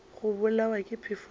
go bolawa ke phefo ke